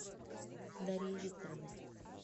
дарьей викторовной